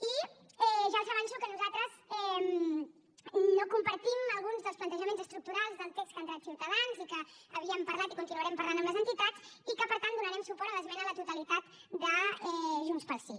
i ja els avanço que nosaltres no compartim alguns dels plantejaments estructurals del text que ha entrat ciutadans i que havíem parlat i continuarem parlant amb les entitats i que per tant donarem suport a l’esmena a la totalitat de junts pel sí